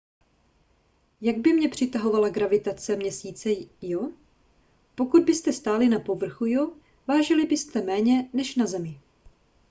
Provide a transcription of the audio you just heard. jak by mě přitahovala gravitace měsíce io pokud byste stáli na povrchu io vážili byste méně než na zemi